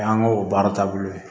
O y'an ka o baara taabolo ye